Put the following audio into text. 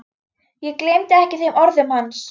Ég gleymi ekki þeim orðum hans.